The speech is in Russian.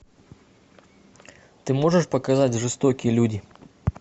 ты можешь показать жестокие люди